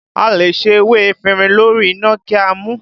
A lè se ewé efinrin lórí iná kí a mu u